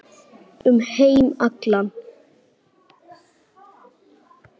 Um heim allan.